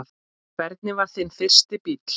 Hvernig var þinn fyrsti bíll?